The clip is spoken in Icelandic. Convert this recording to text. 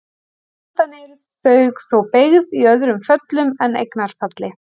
Sjaldan eru þau þó beygð í öðrum föllum en eignarfalli.